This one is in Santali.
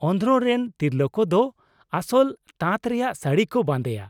ᱚᱱᱫᱷᱨᱚᱼ ᱨᱮᱱ ᱛᱤᱨᱞᱟᱹ ᱠᱚᱫᱚ ᱟᱥᱚᱞ ᱛᱟᱸᱛ ᱨᱮᱭᱟᱜ ᱥᱟᱹᱲᱤ ᱠᱚ ᱵᱟᱸᱫᱮᱭᱟ ᱾